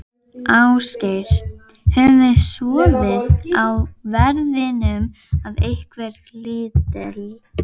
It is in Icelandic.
Ásgeir: Höfum við sofið á verðinum að einhverju leyti?